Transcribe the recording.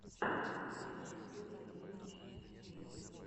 первая серия ленич энд киря